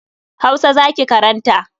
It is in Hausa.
Hausa za ki karanta.